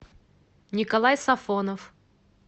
николай сафонов